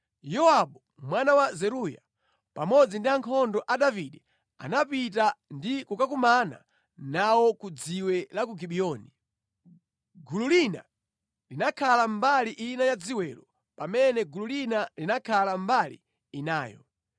Yowabu mwana wa Zeruya pamodzi ndi ankhondo a Davide anapita ndi kukakumana nawo ku dziwe la ku Gibiyoni. Gulu lina linakhala mbali ina ya dziwelo pamene gulu lina linakhala mbali inayo.